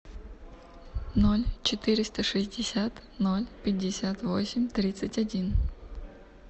ноль четыреста шестьдесят ноль пятьдесят восемь тридцать один